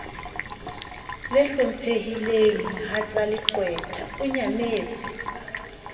le hlomphehileng mohatsaleqwetha o nyametse